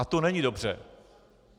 A to není dobře.